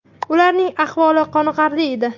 Ularning ahvoli qoniqarli edi.